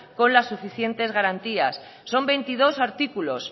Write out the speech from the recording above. con la suficientes garantías son veintidós artículos